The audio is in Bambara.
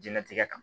Jɛnatigɛ